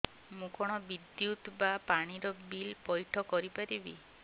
ମୁ କଣ ବିଦ୍ୟୁତ ବା ପାଣି ର ବିଲ ପଇଠ କରି ପାରିବି